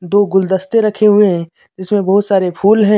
दो गुलदस्ते रखे हुए हैं जिसमे बहुत सारे फूल हैं।